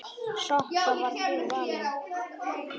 Sokka varð fyrir valinu.